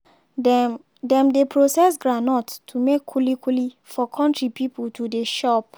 dem dem dey process groundnut to make kuli-kuli for country pipo to dey chop.